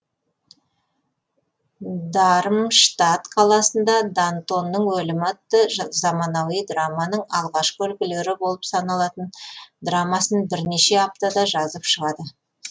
дармштат қаласында дантонның өлімі атты заманауи драманың алғашқы үлгілері болып саналатын драмасын бірнеше аптада жазып шығады